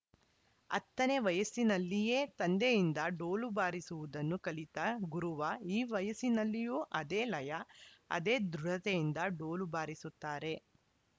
ಹತ್ತ ನೇ ವಯಸ್ಸಿನಲ್ಲಿಯೇ ತಂದೆಯಿಂದ ಡೋಲು ಬಾರಿಸುವುದನ್ನು ಕಲಿತ ಗುರುವ ಈ ವಯಸ್ಸಿನಲ್ಲಿಯೂ ಅದೇ ಲಯ ಅದೇ ದೃಢತೆಯಿಂದ ಡೋಲು ಬಾರಿಸುತ್ತಾರೆ